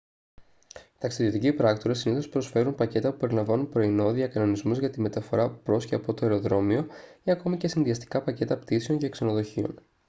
οι ταξιδιωτικοί πράκτορες συνήθως προσφέρουν πακέτα που περιλαμβάνουν πρωινό διακανονισμούς για τη μεταφορά προς/από το αεροδρόμιο ή ακόμη και συνδυαστικά πακέτα πτήσεων και ξενοδοχείων